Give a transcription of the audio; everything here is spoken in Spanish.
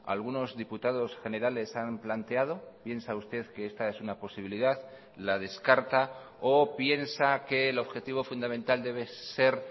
algunos diputados generales han planteado piensa usted que esta es una posibilidad la descarta o piensa que el objetivo fundamental debe ser